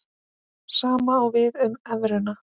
Sama á við um evruna.